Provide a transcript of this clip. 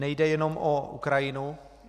Nejde jenom o Ukrajinu.